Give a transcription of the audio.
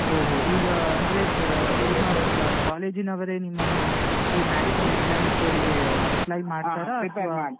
ಹೊ ಹೊ ಈಗಾ ಅಂದ್ರೆ ಆ ನಿಮ್ಮ college ನವರೆ ನಿಮ್ಮನ್ನು ಈ banking exams ಗಳಿಗೆ apply ಮಾಡ್ತಾರಾ ಅಥವಾ .